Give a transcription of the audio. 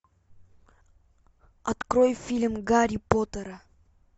открой фильм гарри поттера